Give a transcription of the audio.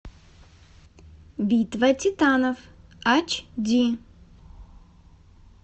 битва титанов ач ди